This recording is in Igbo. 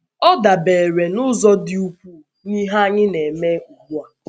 Ọ dabeere n’ụzọ dị ukwuu n’ihe anyị na - eme ugbu a.